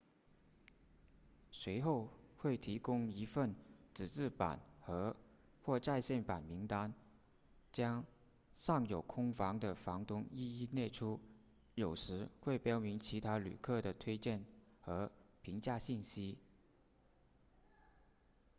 随后会提供一份纸质版和或在线版名单将尚有空房的房东一一列出有时会标明其他旅客的推荐和评价信息